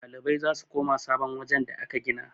ɗalibai za su koma sabon wajen da aka gina